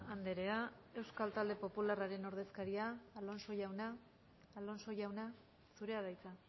andrea euskal talde popularraren ordezkaria alonso jauna alonso jauna zurea da hitza